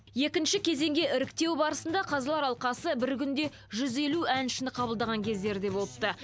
екінші кезеңге іріктеу барысында қазылар алқасы бір күнде жүз елу әншіні қабылдаған кездері де болыпты